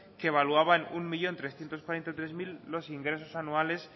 que evaluaba en un millón trescientos cuarenta y tres mil los ingresos anuales